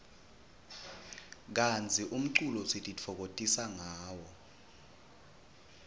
kantsi umculo sitifokotisa ngawo